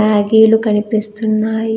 మ్యాగీలు కనిపిస్తున్నాయి.